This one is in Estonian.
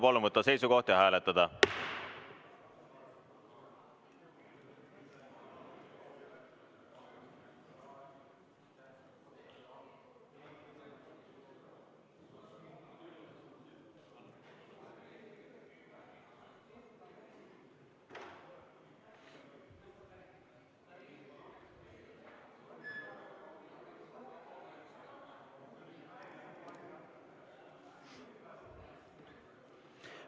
Palun võtta seisukoht ja hääletada!